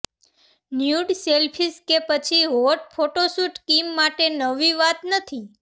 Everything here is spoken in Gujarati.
ન્યૂડ સેલ્ફીઝ કે પછી હોટ ફોટોશૂટ કિમ માટે નવી વાત નથી